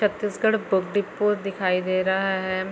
Chhattisgarh book depot दिखाई दे रहा हैं।